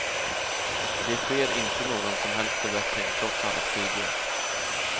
Det sker inte någon som helst förbättring, trots alla studier.